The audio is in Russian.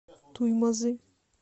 туймазы